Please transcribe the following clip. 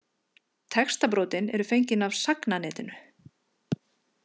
Textabrotin eru fengin af Sagnanetinu.